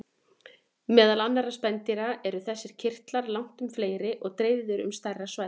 Meðal annarra spendýra eru þessir kirtlar langtum fleiri og dreifðir um stærra svæði.